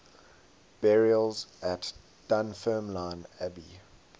burials at dunfermline abbey